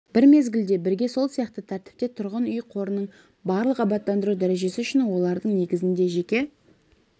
бір мезгілде бірге сол сияқты тәртіпте тұрғын үй қорының барлық абаттандыру дәрежесі үшін олардың негізінде жеке